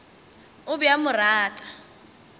o be a mo rata